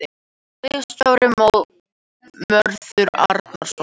Ritstjóri Mörður Árnason.